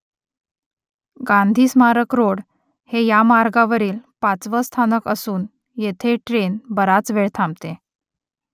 गांधी स्मारक रोड हे या मार्गावरील पाचवं स्थानक असून येथे ट्रेन बराच वेळ थांबते